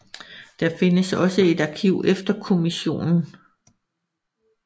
Der findes også et arkiv efter kommissionen